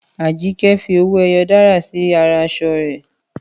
Àjíkẹ́ fi owó ẹyọ dárà sí ara aṣọ rẹ̀